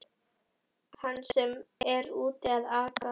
Mann sem er úti að aka!